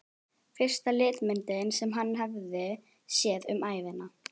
Fyrsta litmyndin sem hann hafði séð um ævina.